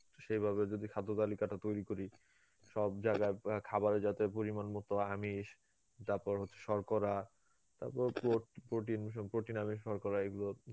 সেইভাবে যদি খাদ্য তালিকাটা তৈরী করি সব জায়গায় অ্যাঁ খাবারে যাতে পরিমান মতো আমিষ তারপর হচ্ছে শর্করা তারপর প্রো~ protin, সম protin, আমিষ, শর্করা এইগুলো